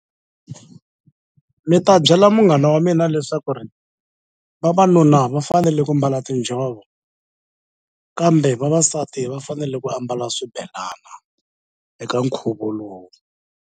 Ni ta byela munghana wa mina leswaku ri vavanuna va fanele ku mbala tinjhovo kambe vavasati va fanele ku ambala swibelana eka nkhuvo lowu.